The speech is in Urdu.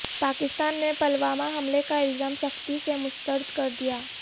پاکستان نے پلوامہ حملے کا الزام سختی سے مسترد کردیا